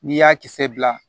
N'i y'a kisɛ bila